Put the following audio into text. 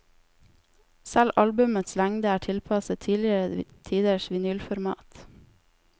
Selv albumets lengde er tilpasset tidligere tiders vinylformat.